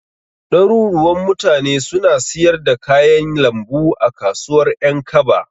Ɗaruruwan mutane suna siyar da kayan lambu a kasuwar Ƴankaba.